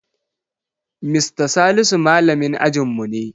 Mista Salisu malamin ajinmu ne.